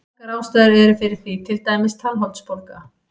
Margar ástæður eru fyrir því, til dæmis tannholdsbólga.